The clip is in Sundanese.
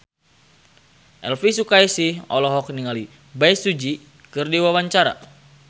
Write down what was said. Elvy Sukaesih olohok ningali Bae Su Ji keur diwawancara